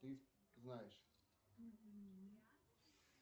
ты знаешь